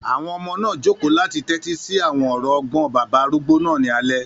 Àwọn ọmọ náà jòkó láti tẹ́tí sí àwọn ọ̀rọ̀ ọgbọ́n bàbá arúgbó náà ní alẹ́